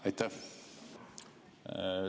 Aitäh!